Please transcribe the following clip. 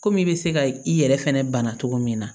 Komi i bɛ se ka i yɛrɛ fɛnɛ bana cogo min na